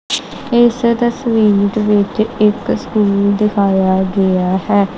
ਇਸ ਤਸਵੀਰ ਦੇ ਵਿੱਚ ਇੱਕ ਸਕੂਲ ਦਿਖਾਆ ਗਿਆ ਹੈ।